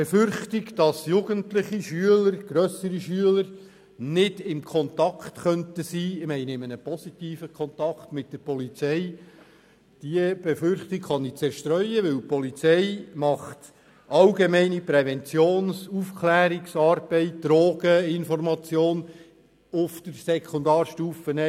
Die Befürchtung, dass Jugendliche, grössere Schüler, nicht in einem positiven Kontakt mit der Polizei stehen könnten, kann ich zerstreuen, denn die Polizei leistet schon jetzt allgemeine Präventions- und Aufklärungsarbeiten wie Drogeninformation auf der Sekundarstufe I.